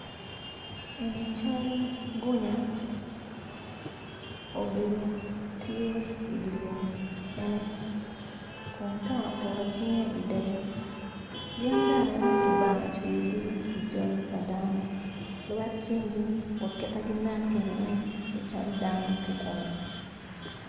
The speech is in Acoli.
Eni cal gunya obedo tye i dye lum kene kun teno oketo cinge i doge gin bene kicweyogi i cal pa dano lwet cingi wa ki kit ma ginen kwede weng tye calo dano kikome.